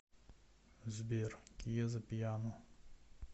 сбер киеза пиано